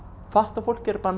fatlað fólk er bara